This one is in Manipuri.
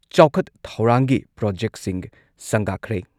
ꯆꯥꯎꯈꯠ ꯊꯧꯔꯥꯡꯒꯤ ꯄ꯭ꯔꯣꯖꯦꯛꯁꯤꯡ ꯁꯪꯒꯥꯈ꯭ꯔꯦ